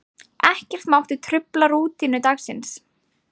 Ekkert mátti trufla rútínu dagsins.